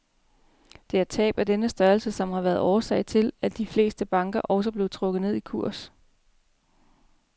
Det er tab af denne størrelse, som har været årsag til, at de fleste banker også blev trukket ned i kurs.